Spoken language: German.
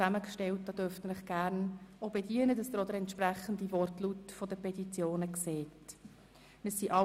Sie dürfen sich gerne bedienen, damit Sie auch den Wortlaut der Petitionen sehen.